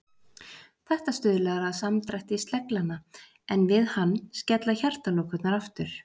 Þetta stuðlar að samdrætti sleglanna, en við hann skella hjartalokurnar aftur.